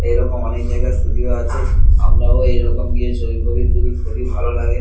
এরকম অনেক জায়গায় ষ্টুডিও আছে আমরাও এরকম গিয়ে ছবি ফবি তুলি খুবই ভালো লাগে।